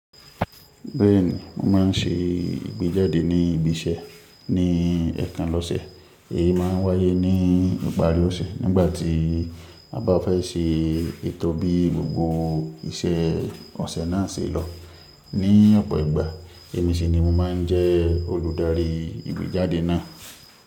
Bẹ́ẹ̀ni, mo ma ń se ìgbéjáde ní ibi iṣẹ́ ní ẹ̀ẹ̀kan lọ́sẹ̀. Èyí ma ń wáyé ní ìparí ọ̀sẹ̀ nígbà tí a bá fẹ́ ṣe ètò bí gbogbo iṣẹ́ ọ̀sẹ̀ náà ṣe lọ. Ní ọ̀pọ̀ ìgbà, èmi sì ni mo máa ń jẹ́ olùdarí ìgbéjáde náà.